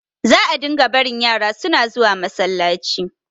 za a dinga barin yara suna zuwa masallacin